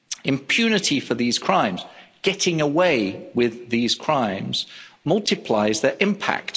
Impunity for these crimes getting away with these crimes multiplies their impact.